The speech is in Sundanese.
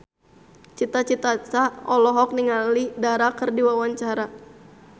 Cita Citata olohok ningali Dara keur diwawancara